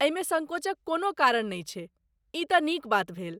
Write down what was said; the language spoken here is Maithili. एहिमे सङ्कोचक कोनो कारण नहि छै, ई तँ नीक बात भेल।